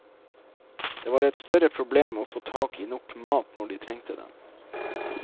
Det var et større problem å få tak i nok mat når de trengte den.